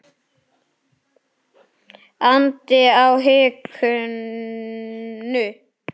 andi á hikinu.